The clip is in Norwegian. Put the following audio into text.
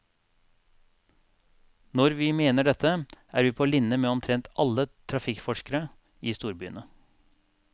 Når vi mener dette, er vi på linje med omtrent alle trafikkforskere i storbyene.